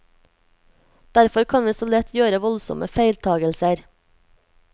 Derfor kan vi så lett gjøre voldsomme feiltagelser.